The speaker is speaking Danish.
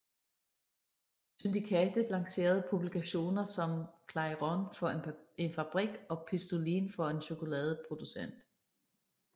Syndikatet lancerede publikationer som Clairon for en fabrik og Pistolin for en chokoladeproducent